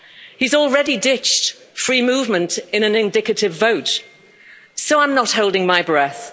He's already ditched free movement in an indicative vote, so I'm not holding my breath.